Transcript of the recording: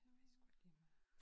Jeg ved sgu ikke lige med